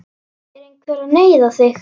Er einhver að neyða þig?